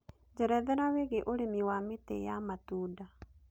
njerethera wĩigie ũrĩmi wa mĩtĩ ya matũnda